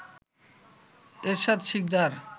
Ershad Sikdar